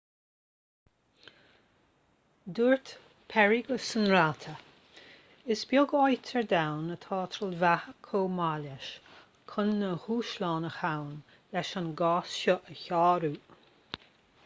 dúirt perry go sainráite is beag áit ar domhan atá trealmhaithe chomh maith leis chun na dúshláin a ghabhann leis an gcás seo a shárú